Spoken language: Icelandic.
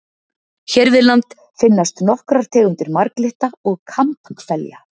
Hér við land finnast nokkrar tegundir marglytta og kambhvelja.